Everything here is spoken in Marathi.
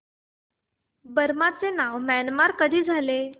बर्मा चे नाव म्यानमार कधी झाले